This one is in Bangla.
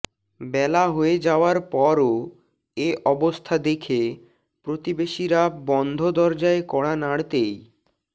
বেলা হয়ে যাওয়ার পরও এ অবস্থা দেখে প্রতিবেশীরা বন্ধ দরজায় কড়া নাড়তেই